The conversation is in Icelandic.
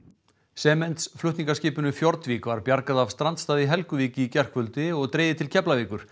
Fjordvik var bjargað af strandstað í Helguvík í gærkvöldi og dregið til Keflavíkur